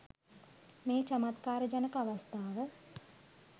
මේ චමත්කාර ජනක අවස්ථාව